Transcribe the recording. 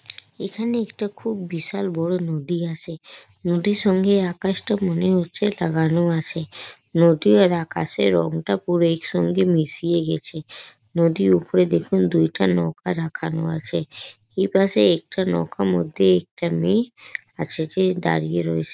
এখানে একটা খুব বিশাল বড়ো নদী আছে। নদীর সঙ্গে আকাশটা মনে হচ্ছে লাগানো আছে। নদীর আর আকাশের রংটা পুরো একসঙ্গে মিশিয়ে গেছে। নদীর ওপরে দেখুন দুইটা নৌকা রাখানো আছে। এই পাশে একটা নৌকার মধ্যে একটা মেয়ে আর সে দাঁড়িয়ে রয়েছে।